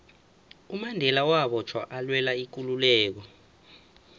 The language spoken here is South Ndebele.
umandela wabotjhwa alwela ikululeko